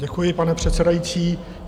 Děkuji, pane předsedající.